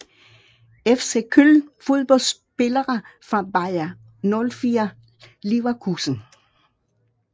FC Köln Fodboldspillere fra Bayer 04 Leverkusen